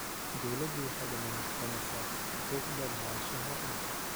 Dawladdu waxay dammaanad qaadaysaa xuquuqda lahaanshaha dhulka.